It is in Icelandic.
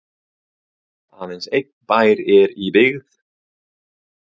aðeins einn bær er í byggð